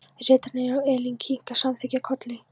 Ritararnir og Elín kinka samþykkjandi kolli.